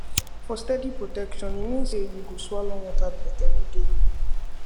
for steady protection e mean say you go swallow one tablet everyday